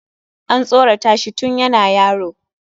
An tsoratashi tun yana yaro.